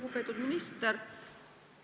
Lugupeetud minister!